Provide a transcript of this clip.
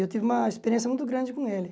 E eu tive uma experiência muito grande com ele.